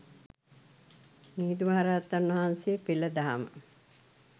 මිහිඳු මහරහතන් වහන්සේ පෙළ දහම